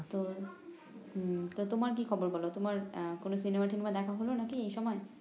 তো হম তোমার কি খবর বল তোমার কোন সিনেমা ঠিনেমা দেখা হল নাকি এই সময়?